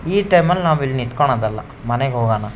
ಈ ಟೈಮ್ ಅಲ್ಲಿ ನಾವು ಇಲ್ಲಿ ನಿಥಿಕೋನೋದ್ ಅಲ್ಲ ಮನೆಗ್ ಹೋಗೋಣ.